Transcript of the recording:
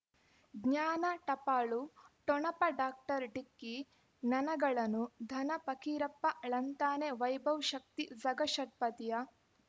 ಜ್ಞಾನ ಟಪಾಲು ಠೊಣಪ ಡಾಕ್ಟರ್ ಢಿಕ್ಕಿ ಣಣಗಳನು ಧನ ಫಕೀರಪ್ಪ ಳಂತಾನೆ ವೈಭವ್ ಶಕ್ತಿ ಝಗಾ ಷಟ್ಪದಿಯ